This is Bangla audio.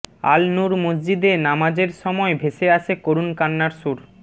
আল নুর মসজিদে নামাজের সময় ভেসে আসে করুণ কান্নার সুর